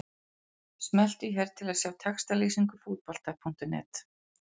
Smelltu hér til að sjá textalýsingu Fótbolta.net.